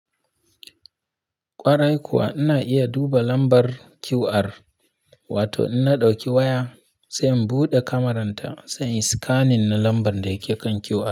Kwarai kuwa ina iya duba lambar QR, wato ina dauki waya sai in bude cameran ta, sai in scanning na lambar da ya ke kan QR.